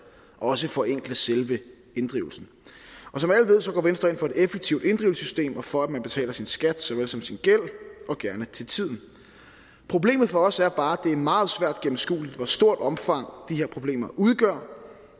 også forenkle selve inddrivelsen som alle ved går venstre ind for et effektivt inddrivelsessystem og for at man betaler sin skat såvel som sin gæld og gerne til tiden problemet for os er bare at det er meget svært gennemskueligt hvor stort et omfang de her problemer udgør